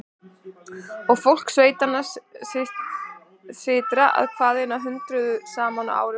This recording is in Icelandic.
Og fólk sveitanna sytrar að hvaðanæva hundruðum saman á ári hverju.